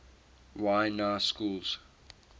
y na schools